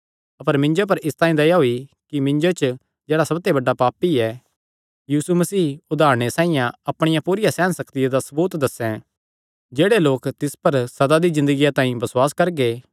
अपर मिन्जो पर इसतांई दया होई कि मिन्जो च जेह्ड़ा सबते बड्डा पापी ऐ यीशु मसीह उदारणे साइआं अपणिया पूरिया सेहन सक्तिया दा सबूत दस्सें जेह्ड़े लोक तिस पर सदा दी ज़िन्दगिया तांई बसुआस करगे